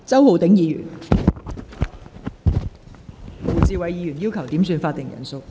胡志偉議員要求點算法定人數。